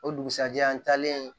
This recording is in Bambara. O dugusɛjɛ an taalen